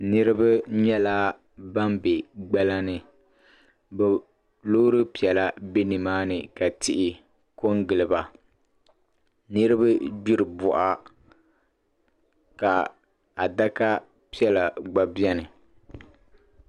Niriba nyɛla ban be gbala ni bɛ loori piɛla be nimaani ka tihi kɔŋ gili ba niriba gbiri bɔɣa ka adaka piɛla gba beni